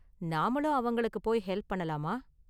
நாமளும் அவங்களுக்கு போய் ஹெல்ப் பண்ணலாமா?